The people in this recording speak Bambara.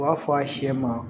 U b'a fɔ a sɛ ma